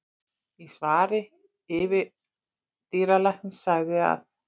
Í svari yfirdýralæknis sagði að